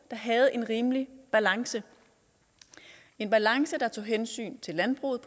havde en rimelig balance en balance der tog hensyn til landbruget